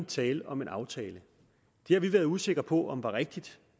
tale om en aftale det har vi været usikre på om var rigtigt